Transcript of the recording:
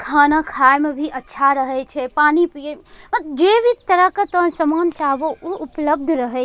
खाना खाए म भी अच्छा रहे छे पानी पीए जे भी तरह के तोय सामान चाह बो उ उपलब्ध रहे --